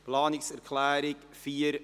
Zu Planungserklärung 4.b